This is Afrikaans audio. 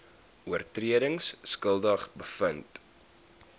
oortredings skuldig bevind